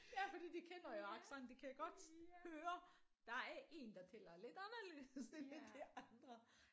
Ja fordi de kender jo accenten de kan godt høre der er en der taler lidt anderledes end de andre